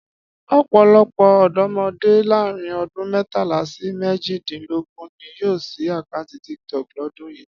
Ọ̀pọ̀lọpọ̀ ọ̀dọ́mọdé láàárín ọdún mẹ́tàlá sí méjìdínlógún ni yóò ṣí àkáǹtì TikTok lọ́dún yìí